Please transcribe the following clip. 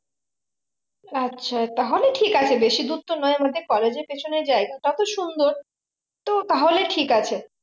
আচ্ছা তাহলে ঠিক আছে বেশি দূর তো নয় আমাদের college এর পেছনের জায়গাটাতো সুন্দর তো তাহলে ঠিক আছে